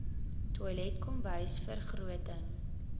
toilet kombuis vergroting